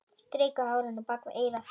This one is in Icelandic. Strýkur hárinu bak við eyrað.